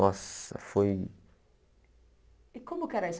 Nossa, foi... E como que era isso?